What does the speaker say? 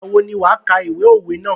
Ìgbà wo ni wà kà ìwé òwe ná?